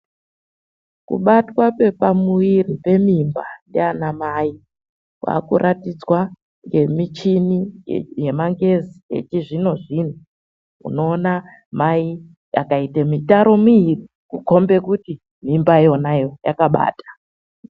Kubatwa kwepamuiri kwemadzimai kwakukombidzwa ngemishini yemangezi echi zvino zvino .Unoone pakaite mitaro miiri zvinokombidze kuti mimbayo yakabata.